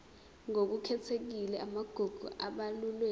ngokukhethekile amagugu abalulwe